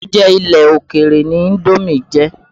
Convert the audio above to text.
Oúnjẹ ilẹ̀ òkèrè ni Indómì jẹ́.